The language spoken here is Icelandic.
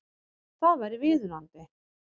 Það væri viðunandi